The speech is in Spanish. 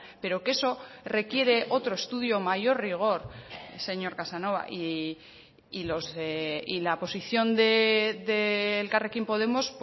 pero que eso requiere otro estudio mayor rigor señor casanova y la posición de elkarrekin podemos